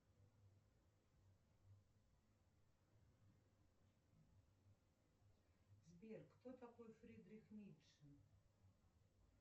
сбер кто такой фридрих ницше